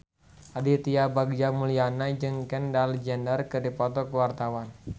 Aditya Bagja Mulyana jeung Kendall Jenner keur dipoto ku wartawan